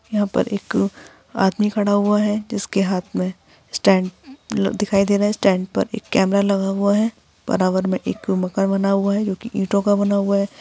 यहाँ पर एक आदमी खड़ा हुआ हैं। जिसके हाथ मे स्टैन्ड दिखाई दे रहा हैं। स्टैन्ड पर एक कैमरा लगा हुआ हैं। बराबर मे एक मकान बना हुआ है जो कि इंटों का बना हुआ हैं।